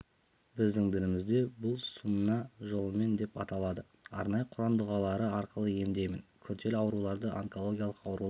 біздің дінімізде бұл сунна жолымен деп аталады арнайы құран дұғалары арқылы емдеймін күрделі ауруларды онкологиялық аурулар